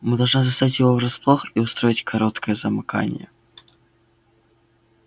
мы должны застать его врасплох и устроить короткое замыкание